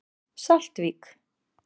Saltvík